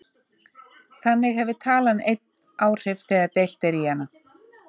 Þannig hefur talan einn áhrif þegar deilt er í hana.